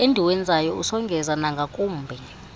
endiwenzayo usongeza nangakumbi